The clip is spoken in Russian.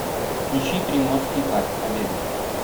включи приморский парк победы